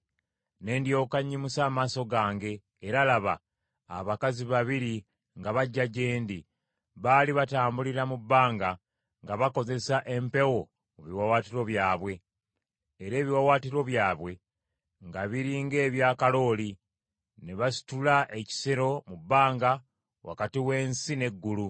Ne ndyoka nnyimusa amaaso gange, era laba, abakazi babiri nga bajja gye ndi, baali batambulira mu bbanga nga bakozesa empewo mu biwaawaatiro byabwe. Era ebiwaawaatiro byabwe nga biri ng’ebya kalooli, ne basitula ekisero mu bbanga wakati w’ensi n’eggulu.